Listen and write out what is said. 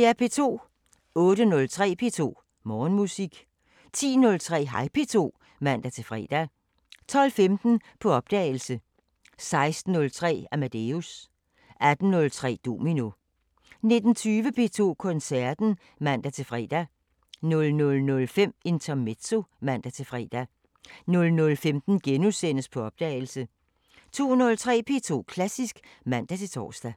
08:03: P2 Morgenmusik 10:03: Hej P2 (man-fre) 12:15: På opdagelse 16:03: Amadeus 18:03: Domino 19:20: P2 Koncerten (man-fre) 00:05: Intermezzo (man-fre) 00:15: På opdagelse * 02:03: P2 Klassisk (man-tor)